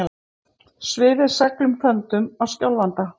Svifið seglum þöndum á Skjálfanda